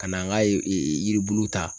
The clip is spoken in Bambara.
Ka n'an ka yiribulu ta